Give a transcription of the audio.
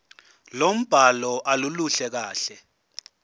lombhalo aluluhle kahle